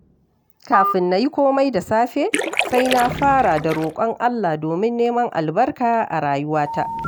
Kafin na yi komai da safe, sai na fara da roƙon Allah domin neman albarka a rayuwata.